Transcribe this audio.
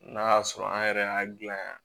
N'a y'a sɔrɔ an yɛrɛ y'a gilan